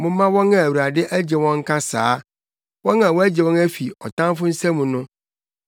Momma wɔn a Awurade agye wɔn nka saa, wɔn a wagye wɔn afi ɔtamfo nsam no;